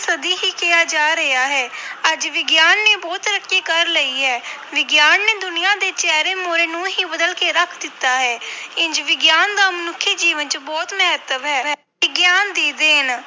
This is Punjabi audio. ਸਦੀ ਹੀ ਕਿਹਾ ਜਾ ਰਿਹਾ ਹੈ ਅੱਜ ਵਿਗਿਆਨ ਨੇ ਬਹੁਤ ਤਰੱਕੀ ਕਰ ਲਈ ਹੈ ਵਿਗਿਆਨ ਨੇ ਦੁਨੀਆ ਦੇ ਚਿਹਰੇ ਮੂਹਰੇ ਨੂੰ ਹੀ ਬਦਲ ਕੇ ਰੱਖ ਦਿੱਤਾ ਹੈ ਇੰਞ ਵਿਗਿਆਨ ਦਾ ਮਨੁੱਖੀ ਜੀਵਨ ਵਿੱਚ ਬਹੁਤ ਮਹੱਤਵ ਹੈ, ਵਿਗਿਆਨ ਦੀ ਦੇਣ